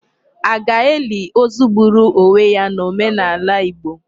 A ga-eli ozu gburu onwe ya n'omenala Igbo?